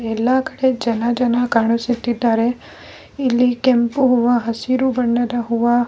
ಎಲ್ಲ ಕಡೆ ಜನ ಜನ ಕಾಣಿಸುತಿದ್ದಾರೆ ಇಲ್ಲಿ ಕೆಂಪು ಹೂವ ಹಸಿರು ಬಣ್ಣದ ಹೂವ --